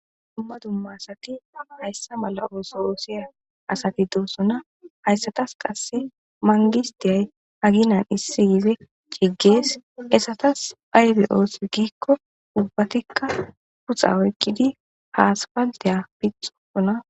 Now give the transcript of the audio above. dumma dumma asati hayssa mala ooso oosiya asati doossona hayssatas qasse mangistiye aginan issi gize ciggees esatas aybe oosi giikko ubbatikka puxa oykkidi ha aspaltiya pitosona